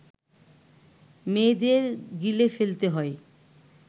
মেয়েদের গিলে ফেলতে হয়